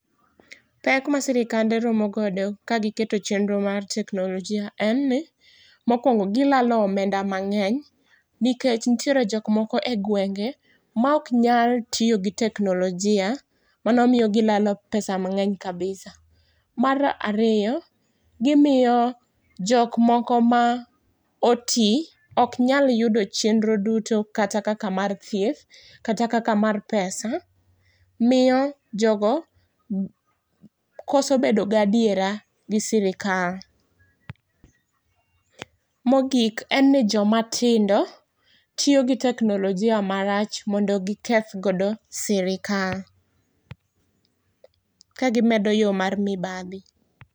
Pek ma sirikande romogodo kagiketo chendro mar teknolojia en ni. Mokwongo, gilalo omenda mang'eny nikech nitiere jok moko e gwenge maok nyal tiyo gi teknolojia, mano miyo gilalo pesa mang'eny kabisa. Mar ariyo, gimiyo jok moko ma oti ok nyal yudo chendro duto kata kaka mar thieth, kata kaka mar pesa. Miyo jogo koso bedogadiera gi sirikal. Mogik, en ni jomatindo tiyo gi teknolojia marach mondo gikethgodo sirikal, ka gimedo yo mar mibadhi.